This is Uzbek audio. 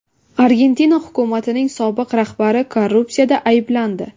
Argentina hukumatining sobiq rahbari korrupsiyada ayblandi.